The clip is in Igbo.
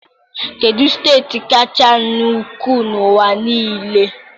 Kedu steeti kacha nnukwu n'ụwa niile?